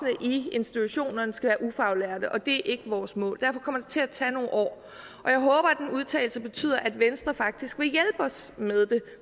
institutionerne skal være ufaglærte og det er ikke vores mål derfor kommer det til at tage nogle år og jeg håber at den udtalelse betyder at venstre faktisk vil hjælpe os med det